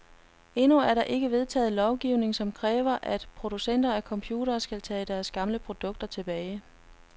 Endnu er der ikke vedtaget lovgivning, som kræver, at producenter af computere skal tage deres gamle produkter tilbage.